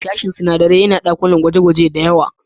Sashen sunadarai yana da dakunan gwaje-gwaje da yawa